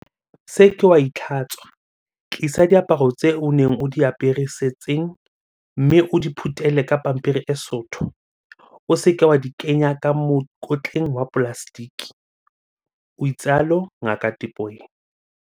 "Se ke wa itlhatswa, tlisa diaparo tseo o neng o di apere setsing mme o di phuthele ka pampiri e sootho, o se ke wa di kenya ka mokotleng wa polaseteke," o itsalo Ngaka Tipoy.